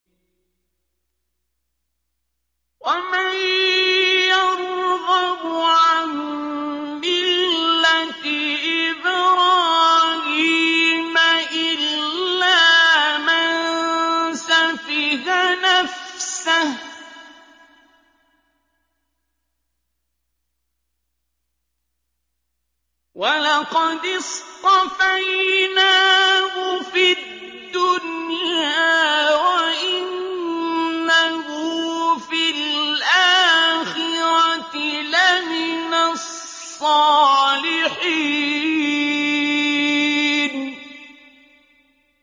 وَمَن يَرْغَبُ عَن مِّلَّةِ إِبْرَاهِيمَ إِلَّا مَن سَفِهَ نَفْسَهُ ۚ وَلَقَدِ اصْطَفَيْنَاهُ فِي الدُّنْيَا ۖ وَإِنَّهُ فِي الْآخِرَةِ لَمِنَ الصَّالِحِينَ